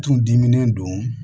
Tun dimi don